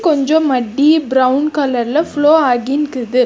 கொஞ்சோ மட்டி பிரவுன் கலர்ல ஃப்ளோ ஆகின்குது.